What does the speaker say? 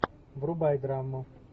врубай драму